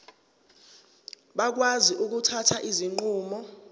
bakwazi ukuthatha izinqumo